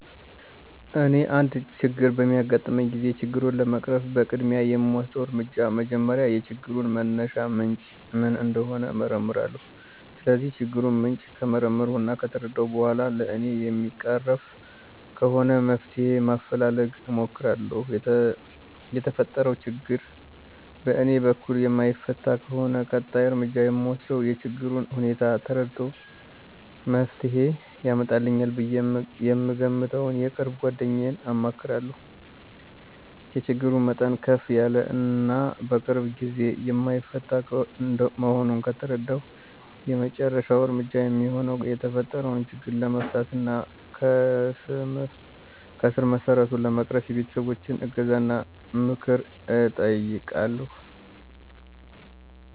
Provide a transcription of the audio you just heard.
እኔ አንድ ችግር በሚያጋጥመኝ ጊዜ ችግሩን ለመቅረፍ በቅድሚያ የምወስደው እርምጃ መጀመሪያ የችግሩን መነሻ ምንጭ ምን እንደሆነ እመረምራለሁ። ስለዚህ የችግሩን ምንጭ ከመረመርሁ እና ከተረዳሁ በኋላ በእኔ የሚቀረፍ ከሆነ መፍትሄ ማፈላለግ እሞክራለሁ። የተፈጠረው ችግር በእኔ በኩል የማይፈታ ከሆነ ቀጣይ እርምጃ የምወስደው የችግሩን ሁኔታ ተረድቶ መፍትሄ ያመጣልኛል ብዬ የምገምተውን የቅርብ ጓደኛዬን አማክራለሁ። የችግሩ መጠን ከፍ ያለ እና በቅርብ ጓደኛዬ የማይፈታ መሆኑን ከተረዳሁ የመጨረሻው እርምጃ የሚሆነው የተፈጠረው ችግር ለመፍታት እና ከስረመሰረቱ ለመቅረፍ የቤተሰቦቸን እገዛና ምክር እጠይቃለሁ።